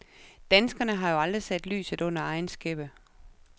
Danskerne har jo aldrig sat lyset under egen skæppe.